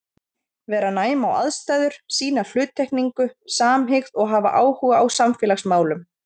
Vera næm á aðstæður, sýna hluttekningu, samhygð og hafa áhuga á samfélagsmálum.